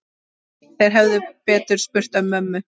Þeir hefðu betur spurt mömmu.